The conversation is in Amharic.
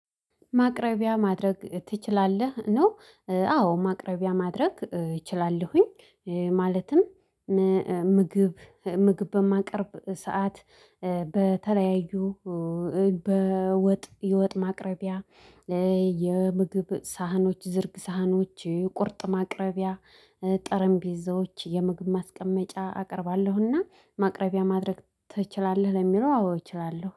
ማቅረቢያ ማድረግ ትችላለህ? ነው አዎ ማቅረቢያ ማድረግ እችላለሁኝ። ማለትም ምግብ ምግብ በማቀርብበት ሰዓት በተለያዩ በወጥ የወጥ ማቅረቢያ የምግብ ሳህኖች ዝርግ ሳህኖች ቁርጥ ማቅረቢያ ጠረምቢዞች የምግብ ማስቀመጫ አቀርባለሁና ማቅረቢያ ማድረግ ትችላለህ ለሚለው አዎ እችላለሁ።